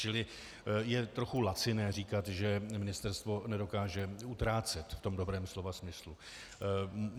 Čili je trochu laciné říkat, že ministerstvo nedokáže utrácet - v tom dobrém slova smyslu.